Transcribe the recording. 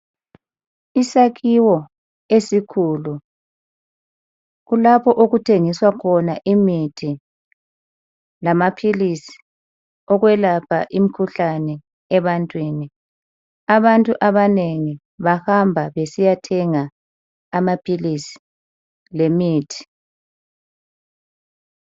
Isakhiwo esikhulu, kulapho okuthengiswa khona imithi lamaphilisi okwelapha imikhuhlane ebantwini, abantu abanengi bahamba besiyathenga amaphilisi lemithi.